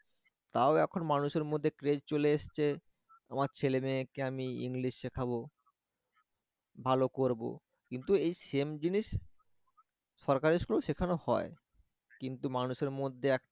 তাও এখন মানুষের মধ্যে trend চলে এসেছে আমার ছেলে মেয়েকে আমি english শিখাবো ভালো করব কিন্তু এই same জিনিস সরকারি school এ ও শেখানো হয় কিন্তু মানুষের মধ্যে একটা